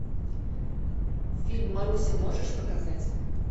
фильм маруся можешь показать